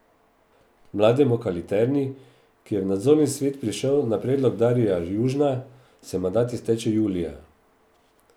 Mladenu Kaliterni, ki je v nadzorni svet prišel na predlog Darija Južna, se mandat izteče julija.